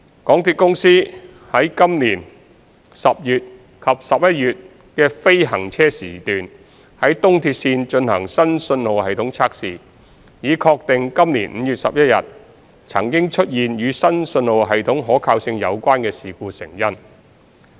港鐵公司於今年10月及11月的非行車時段於東鐵綫進行新信號系統測試，以確定今年5月11日曾出現與新信號系統可靠性有關的事故成因。